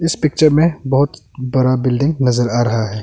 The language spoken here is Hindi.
पिक्चर में बहुत बड़ा बिल्डिंग नजर आ रहा है।